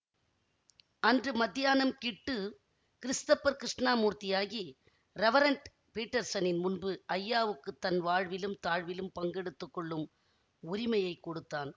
அன்று மத்தியானம் கிட்டு கிறிஸ்தப்பர் கிருஷ்ணமூர்த்தியாகி ரெவரண்ட் பீட்டர்ஸனின் முன்பு ஜயாவுக்குத் தன் வாழ்விலும் தாழ்விலும் பங்கெடுத்துக்கொள்ளும் உரிமையை கொடுத்தான்